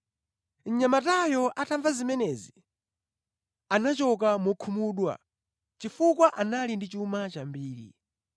Mnyamatayo atamva zimenezi, anachoka mokhumudwa, chifukwa anali ndi chuma chambiri.